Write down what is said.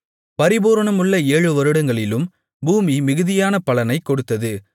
பரிபூரணமுள்ள ஏழு வருடங்களிலும் பூமி மிகுதியான பலனைக் கொடுத்தது